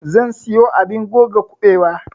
zan siyo abun goga kuɓewa